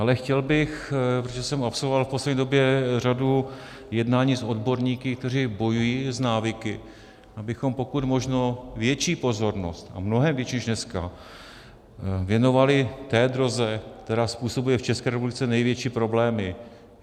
Ale chtěl bych, protože jsem absolvoval v poslední době řadu jednání s odborníky, kteří bojují s návyky, abychom pokud možno větší pozornost, a mnohem větší než dneska, věnovali té droze, která způsobuje v České republice největší problémy.